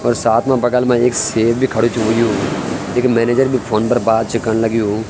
और साथ मा बगल मा एक सेफ भी खडू च हुयुं एक मेनेजर भी फ़ोन पर बात च कण लग्युं।